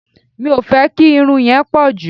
Mi ò fẹ́ kí irun yẹn pọ̀ jù.